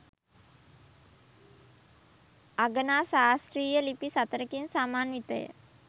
අගනා ශාස්ත්‍රීය ලිපි සතරකින් සමන්විතය.